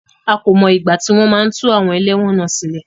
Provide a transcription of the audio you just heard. A kò mọ ìgbà tí wọ́n máa tú àwọn ẹlẹ́wọ̀n náà sílẹ̀.